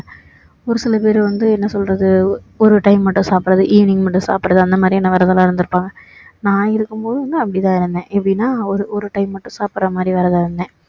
ஒரு சில பேரு வந்து என்ன சொல்றது ஒரு time மட்டும் சாப்பிடுறது evening மட்டும் சாப்பிடுறது அந்த மாதிரியான விரதம்லாம் இருந்திருப்பாங்க நான் இருக்கும் போதும் வந்து அப்படி தான் இருந்தேன் எப்படின்னா ஒரு ஒரு time மட்டும் சாப்பிடுற மாதிரி விரதம் இருந்தேன்